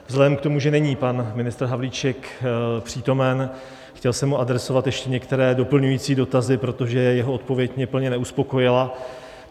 Vzhledem k tomu, že není pan ministr Havlíček přítomen, chtěl jsem mu adresovat ještě některé doplňující dotazy, protože jeho odpověď mě plně neuspokojila.